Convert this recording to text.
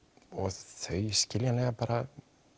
þau skiljanlega bara